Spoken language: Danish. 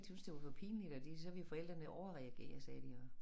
Syntes det var for pinligt og de så ville forældrene overreagere sagde de og